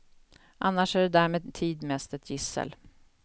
Annars är det där med tid mest ett gissel.